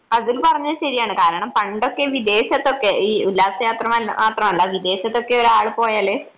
അതുൽ പറഞ്ഞത് ശരിയാണ് കാരണം പണ്ടൊക്കെ വിദേശത്തൊക്കെ ഈ ഉല്ലാസയാത്ര മാത്രമല്ല വിദേശത്തൊക്കെ ഒരാളും പോയാല്